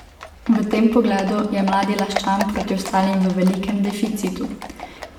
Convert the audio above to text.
V tem pogledu je mladi Laščan proti ostalim v velikem deficitu.